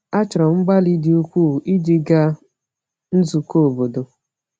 A chọrọ mgbalị dị ukwuu iji gaa nzukọ obodo.